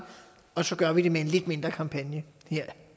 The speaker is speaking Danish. og så gør vi det med en lidt mindre kampagne her